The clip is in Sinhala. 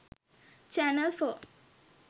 channel 4